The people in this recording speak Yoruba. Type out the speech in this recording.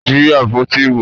Jí àpótí ìbò!